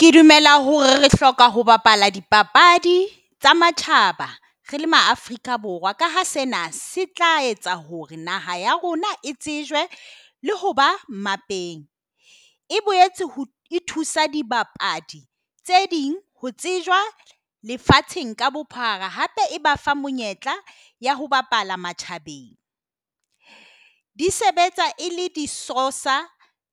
Ke dumela hore re hloka ho bapala dipapadi tsa matjhaba, rele ma Afrika Borwa kaha sena se tla etsa hore naha ya rona e tsejwa le ho ba malapeng. E boetse e thusa dibapadi tse ding ho tsejwa lefatsheng ka bophara. Hape e ba fa monyetla ya ho bapala matjhabeng. Di sebetsa e le de Sousa